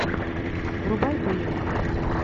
врубай боевик